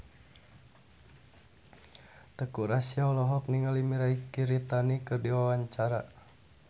Teuku Rassya olohok ningali Mirei Kiritani keur diwawancara